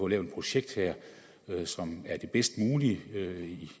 et projekt her som er det bedst mulige